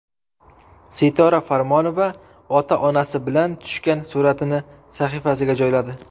Sitora Farmonova ota-onasi bilan tushgan suratini sahifasiga joyladi.